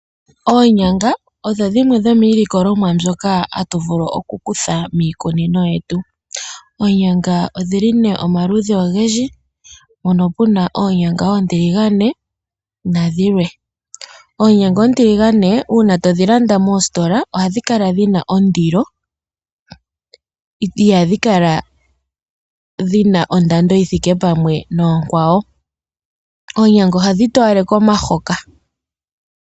Oonyanga odho dhimwe dhomiilikolomwa mbyoka hatu vulu okukutha miikunino yetu. Oonyanga odhili nee omaludhi ogendji, mpono puna oonyanga oontiligane nadhilwe. Oonyanga oontiligane uuna todhi landa moositola ohadhi kala dhina ondilo, ihadhi kala dhina ondando yithiike pamwe nookwawo. Oonyanga ohadhi toyaleke omahoka.